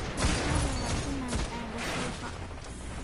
Waxaan rabaa inaan aado suuqa